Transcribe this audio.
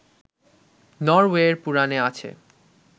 নরওয়ের পুরাণে আছে